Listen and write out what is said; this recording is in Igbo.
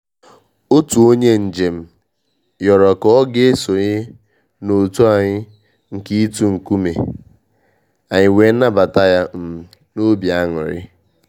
Otu onye mjem yoro ka ọ ga-esonye na otu anyị nke itu nkume, anyị wee nabata ya um n' obi aṅụrị.